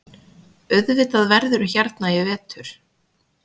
Auðvitað verðurðu hérna í vetur.